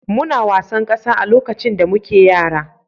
Muna wasan ƙasa lokacin da muke yara.